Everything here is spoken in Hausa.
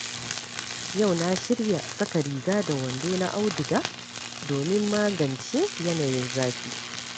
Yau na shirya saka riga da wando na auduga domin magance yanayin zafi.